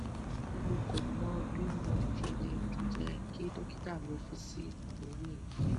mo ko mo bi mo sele je ki dokita mi fi si ori e